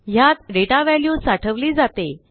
ह्यात data value साठवली जाते